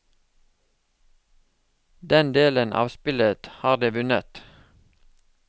Den delen av spillet har de vunnet.